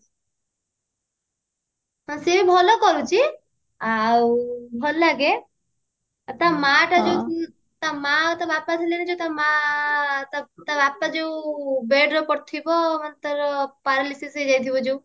ହଁ ସିଏ ବି ଭଲ କରୁଛି ଆଉ ଭଲ ଲାଗେ ଆଉ ତା ମା ଟା ଯୋଉ ତା ମା ଆଉ ତା ବାପା ଥିଲେ ନି ଯୋଉ ମା ଆଁ ଆଉ ତା ବାପା ଯୋଉ bedରେ ପଡିଥିବା ତାର paralysis ହେଇଯାଇଥିବ ଯଉ